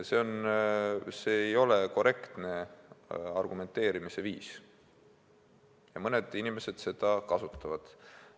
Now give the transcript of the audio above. See ei ole korrektne argumenteerimise viis, aga mõned inimesed seda kasutavad.